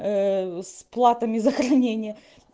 с платами за хранение